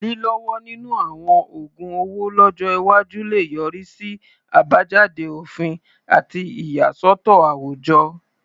Lílọ́wọ́ nínú àwọn oògun owó lọ́jọ́ iwájú lè yọrí sí àbájáde òfin àti ìyàsọ́tọ̀ àwùjọ.